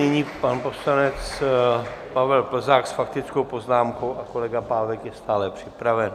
Nyní pan poslanec Pavel Plzák s faktickou poznámkou a kolega Pávek je stále připraven.